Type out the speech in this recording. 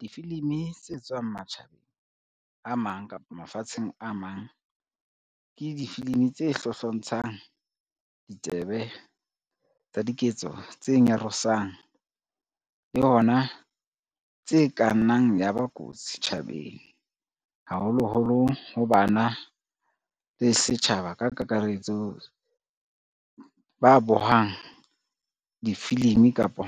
Difilimi tse tswang matjhabeng a mang kapa mafatsheng a mang, ke difilimi tse hlohlontshang ditsebe, tsa diketso tse nyarosang le hona tse ka nnang ya ba kotsi setjhabeng haholoholo ho bana le setjhaba ka kakaretso ba bohang difilimi kapa